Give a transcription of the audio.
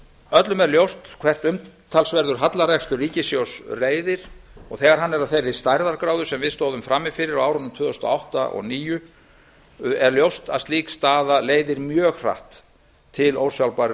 öllum er ljóst hvert umtalsverður hallarekstur ríkissjóðs leiðir og þegar hann er af þeirri stærðargráðu sem við stóðum frammi fyrir á árunum tvö þúsund og átta og tvö þúsund og níu er ljóst að slík staða leiðir mjög hratt til ósjálfbærrar